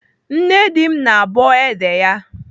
Nne di m na-abọ ede ya.